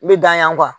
I bɛ dan yan